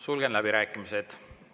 Sulgen läbirääkimised.